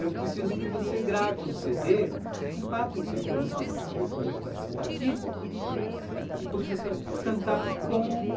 Eu preciso que você grave um cê dê com quatro ou cinco músicas que você gostaria de participar aqui e porque você vai cantar com